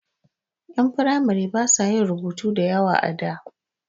Ƴan firamare ba sa yin rubutu da yawa a da.